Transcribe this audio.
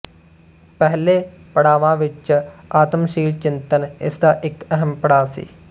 ਪਹਿਲੇ ਪੜਾਵਾਂ ਵਿੱਚ ਆਤਮਸ਼ੀਲ ਚਿੰਤਨ ਇਸਦਾ ਇੱਕ ਅਹਿਮ ਪੜਾਅ ਸੀ